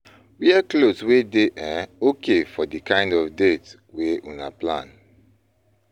wear cloth wey dey um okay for di kind of date wey una plan